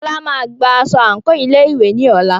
Fola máa gba aṣọ àǹkóò ilé ìwé ní ọ̀la.